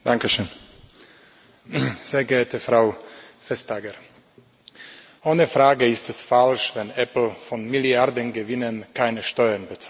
Frau Präsidentin, sehr geehrte Frau Vestager! Ohne Frage ist es falsch, wenn Apple von Milliardengewinnen keine Steuern bezahlt.